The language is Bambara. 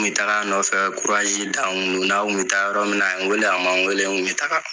Me tag'a nɔfɛ. Kuraji dan kun don. N'a kun be taa yɔrɔ min na, a ye n weele a ma n weele n kun be taga.